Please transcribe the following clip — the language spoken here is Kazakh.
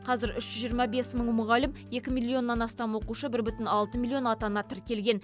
қазір үш жүз жиырма бес мың мұғалім екі миллионнан астам оқушы бір бүтін алты миллион ата ана тіркелген